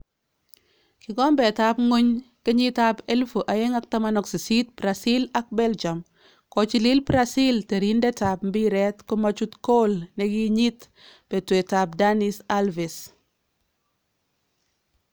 Kikombeetab ngwony 2018 Brazil ak Belgium:Kochilil Brazil teriindetab mbiret komachut kool nekinyiit betweetab Dani Alves